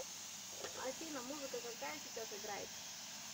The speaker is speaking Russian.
афина музыка какая сейчас играет